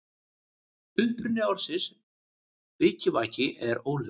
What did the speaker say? Uppruni orðsins vikivaki er óljós.